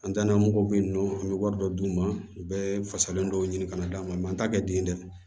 An danna mɔgɔw bɛ yen nɔ an bɛ wari dɔ d'u ma u bɛ fasalen dɔw ɲini ka d'an ma an t'a kɛ den dɛ